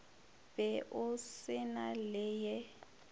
be o se na leye